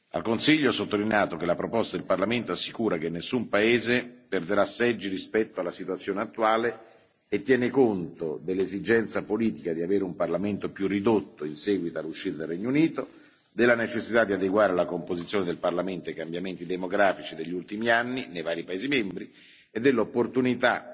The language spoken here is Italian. Al Consiglio, ho sottolineato che la proposta del Parlamento assicura che nessun paese perderà seggi rispetto alla situazione attuale e tiene conto dell'esigenza politica di avere un Parlamento più ridotto in seguito all'uscita del Regno Unito, della necessità di adeguare la composizione del Parlamento ai cambiamenti demografici degli ultimi anni nei vari paesi membri, e dell'opportunità